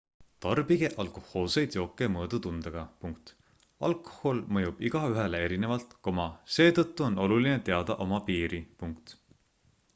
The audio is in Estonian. tarbige alkohoolseid jooke mõõdutundega alkohol mõjub igaühele erinevalt seetõttu on oluline teada oma piiri